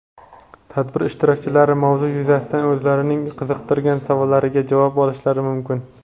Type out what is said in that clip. tadbir ishtirokchilari mavzu yuzasidan o‘zlarining qiziqtirgan savollariga javob olishlari mumkin.